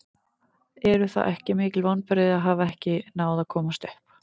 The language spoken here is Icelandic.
Eru það ekki mikil vonbrigði að hafa ekki náð að komast upp?